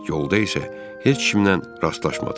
Yolda isə heç kimlə rastlaşmadıq.